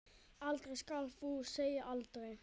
Aldrei skal þó segja aldrei.